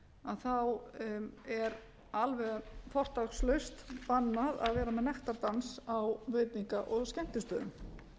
það þá er alveg fortakslaust bannað að vera með nektardans á veitinga og skemmtistöðum